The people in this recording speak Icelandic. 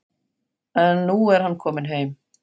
En nú er hann kominn heim.